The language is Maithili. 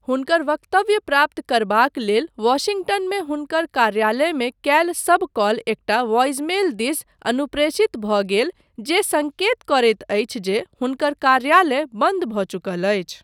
हुनकर वक्तव्य प्राप्त करबाक लेल वाशिंगटनमे हुनकर कार्यालयमे कयल सब कॉल एकटा वॉइसमेल दिस अनुप्रेषित भऽ गेल जे सङ्केत करैत अछि जे हुनकर 'कार्यालय बन्द भऽ चुकल अछि'।